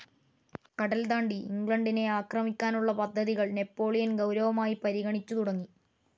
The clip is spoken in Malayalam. കടൽതാണ്ടി ഇംഗ്ലണ്ടിനെ അക്രമിക്കാനുള്ള പദ്ധതികൾ നാപ്പോളിയൻ ഗൌരവമായി പരിഗണിച്ചുതുടങ്ങി.